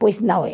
Pois não é.